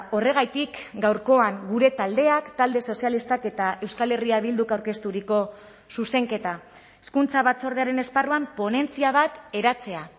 horregatik gaurkoan gure taldeak talde sozialistak eta euskal herria bilduk aurkezturiko zuzenketa hezkuntza batzordearen esparruan ponentzia bat eratzea